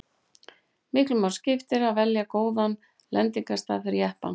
miklu máli skipti að velja góðan lendingarstað fyrir jeppann